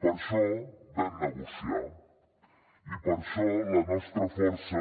per això vam negociar i per això la nostra força